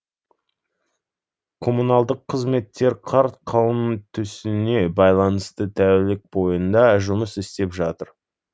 коммуналдық қызметтер қар қалың түсуіне байланысты тәулік бойында жұмыс істеп жатыр